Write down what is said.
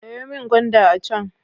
Sayo min gwanda a can.